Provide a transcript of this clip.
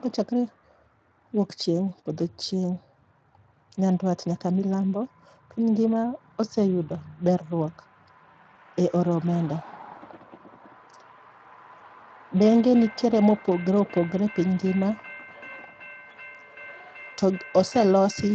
Kochakre wuok chieng', podho chieng', nyandwat nyaka milambo, piny ngima oseyudo berruok e oro omenda. Benge nitiere mopogre opogre piny ngima, to oselosi